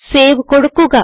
save കൊടുക്കുക